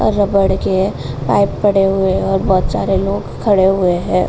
और रबड़ के पाइप पड़े हुए हैं और बहोत सारे लोग खड़े हुए हैं।